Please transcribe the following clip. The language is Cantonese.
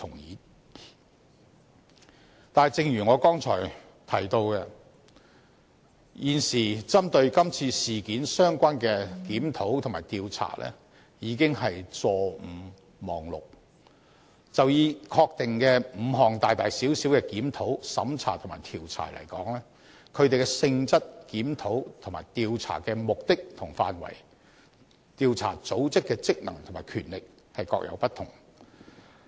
然而，正如我剛才提到，現時針對這次事件相關的檢討及調查已經是"坐五望六"，就以已確定的5項大大小小檢討、審查及調查而言，它們的性質、檢討和調查的目的及範圍、調查組織的職能和權力各有不同。